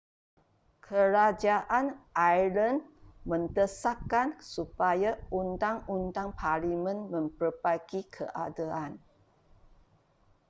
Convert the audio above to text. kerajaan ireland mendesakan supaya undang-undang parlimen memperbaiki keadaan